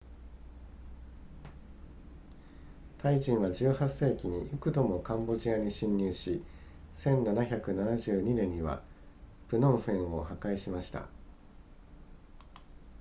タイ人は18世紀に幾度もカンボジアに侵入し1772年にはプノンフェンを破壊しました